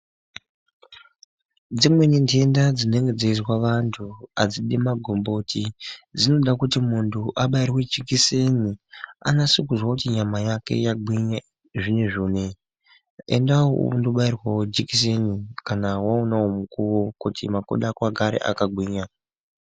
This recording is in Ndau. Dzimweni ntenda dzinenge dzeizwa vantu adzidi magomboti, dzinoda kuti muntu abairwe jikiseni ,anase kuzwa kuti nyama yake yagwinya zvinezvi unewu. Endawo undoobairwawo jikiseni kana waonawo mukuwo kuti makodo ako agare akagwinya.